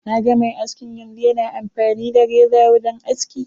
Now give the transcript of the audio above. Naga mai askin yanzu, yana amfani da reza wajen aski.